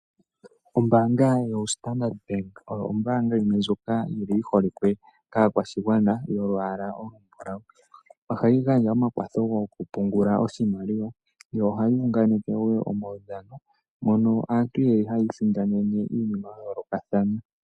Ombaanga yoStandard Bank oyo ombaanga yimwe ndjoka yi holikwe kaakwashigwana yolwaala olumbulawu. Ohayi gandja omakwatho goku pungula oshimaliwa, yo ohayi unganeke wo omaudhano mono aantu yeli hata isindanene iinima ya yoolokathana.